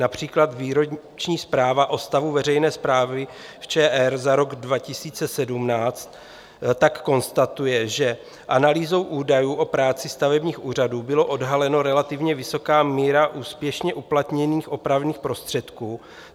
Například výroční zpráva o stavu veřejné správy v ČR za rok 2017 tak konstatuje, že analýzou údajů o práci stavebních úřadů byla odhalena relativně vysoká míra úspěšně uplatněných opravných prostředků.